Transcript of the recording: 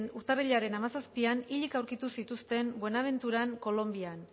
urtarrilaren hamazazpian hilik aurkitu zituzten buenaventuran kolonbian